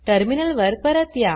terminal वर परत या